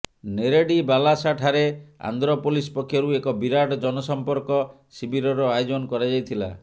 ନେରେଡି ବାଲସାଠାରେ ଆନ୍ଧ୍ର ପୋଲିସ ପକ୍ଷରୁ ଏକ ବିରାଟ ଜନସଂପର୍କ ଶିବିରର ଆୟୋଜନ କରାଯାଇଥିଲା